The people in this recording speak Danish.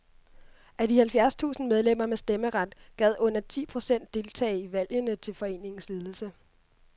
Af de halvfjerds tusind medlemmer med stemmeret gad under ti procent deltage i valgene til foreningens ledelse.